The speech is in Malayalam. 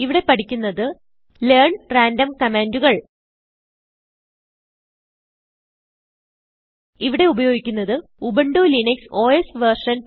ഇവിടെ പഠിക്കുന്നത് ലെയർൻ റാൻഡം കമാന്റുകൾ ഇവിടെ ഉപയോഗിക്കുന്നത് ഉബുന്റു ലിനക്സ് ഓസ് വെർഷൻ